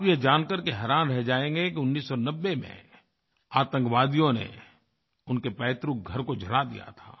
आप ये जानकर के हैरान रह जाएंगे कि 1990 में आतंकवादियों ने उनके पैतृकघर को जला दिया था